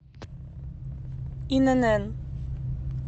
инн